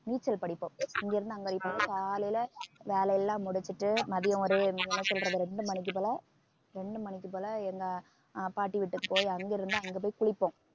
நீச்சல் படிப்போம் இங்க இருந்து அங்க அடிப்போம் காலையில வேலை எல்லாம் முடிச்சிட்டு மதியம் ஒரு நீங்க என்ன சொல்றது ரெண்டு மணிக்கு போல ரெண்டு மணிக்கு போல எங்க ஆஹ் பாட்டி வீட்டுக்கு போய் அங்கிருந்து அங்க போய் குளிப்போம்